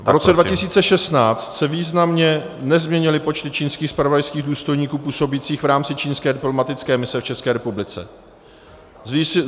V roce 2016 se významně nezměnily počty čínských zpravodajských důstojníků působících v rámci čínské diplomatické mise v České republice.